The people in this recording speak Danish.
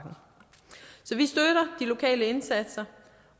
i lokale indsatser